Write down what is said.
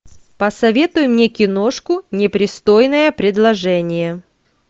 посоветуй мне киношку непристойное предложение